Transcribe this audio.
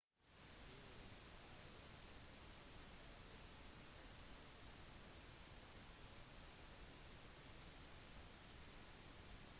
til syvende og sist er det lederen som har ansvaret for om laget vinner eller taper